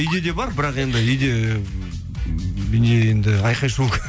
үйде де бар бірақ енді үйде не енді айқай шу